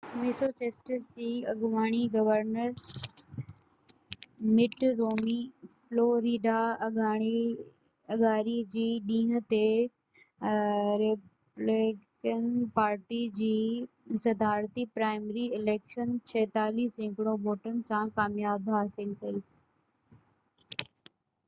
Massachusetts جي اڳوڻي governor Mitt Romney Florida اڱاري جي ڏينهن تي ريپبليڪن پارٽي جي صدارتي پرائمري اليڪشن 46 سيڪڙو ووٽن سان ڪاميابي حاصل ڪئي